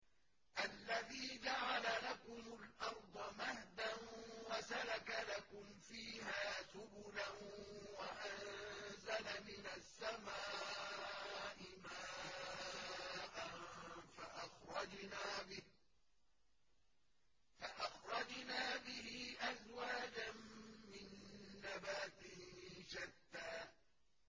الَّذِي جَعَلَ لَكُمُ الْأَرْضَ مَهْدًا وَسَلَكَ لَكُمْ فِيهَا سُبُلًا وَأَنزَلَ مِنَ السَّمَاءِ مَاءً فَأَخْرَجْنَا بِهِ أَزْوَاجًا مِّن نَّبَاتٍ شَتَّىٰ